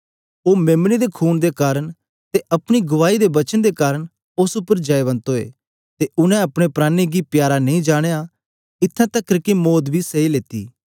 ओ मेम्ने दे खून दे कारन ते अपनी गुआई दे वचन दे कारन उस्स उपर जयवंत ओए ते उनै अपने प्राणें गी प्यारा नेई जानया इत्थैं तकर के मौत बी सैई लेई